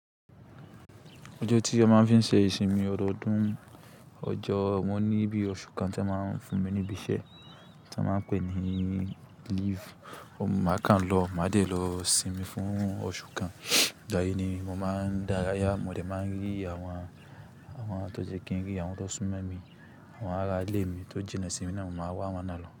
Ọjọ́ tí a máa ń fi ń ṣe ìsinmi ọdọọdún, ọjọ́ mo ní bí i oṣù kan tí wọ́n máa ń fún mi ní ibi iṣẹ́ tí wọ́n máa pè ní leave. Máa kan lọ, máa dè lọ sinmi fún oṣù kan. Ìgbàyìí ni mo máa ń dárayá, mo dè máa n rí àwọn tó jẹ́ kí n rí, àwọn tó súnmọ́ mi, àwọn ará ilé mi tó jínnà sími ná, mo máa wá'wọn náà lọ.